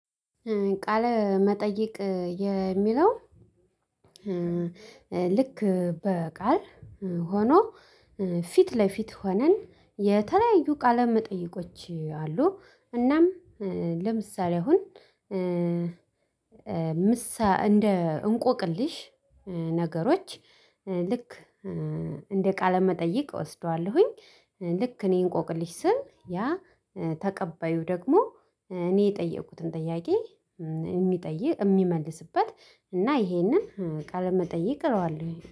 ቃል መጠይቅ የሚለው ልክ በቃል ሆኖ ፊት ለፊት ሆነን የተለያዩ ቃለ መጠየቆች አሉ እናም ለምሳሌ አሁን ምሳሌ እንደ እንቆቅልሽ ነገሮች ልክ እንደ ቃለ መጠይቅ ወስደዋለሁኝ ልክ እኔ እንቆቅልሽ ስል ያ ተቀባዩ ደግሞ እኔ የጠየቁትን ጥያቄ የሚጠይቅ የሚመልስበት እና ይሄንን ቃለመጠየቅ እለዋለሁ።